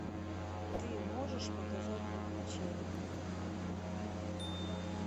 ты можешь показать приключения